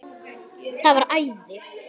Það var æði.